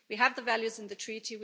We have the values in the treaty.